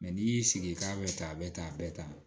n'i y'i sigi i k'a bɛ tan a bɛ tan a bɛ tan